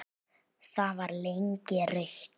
Það var lengi rautt.